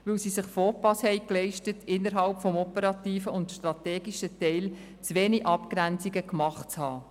Man hat sich den Fauxpas geleistet, innerhalb des operativen und strategischen Teils zu wenige Abgrenzungen vorgenommen zu haben.